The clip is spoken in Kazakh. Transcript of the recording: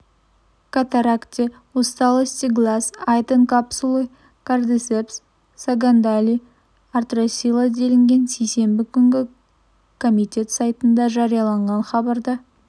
катаракте усталости глаз айтон капсулы кардицепс сагандали артросила делінген сейсенбі күні комитет сайтында жарияланған хабарда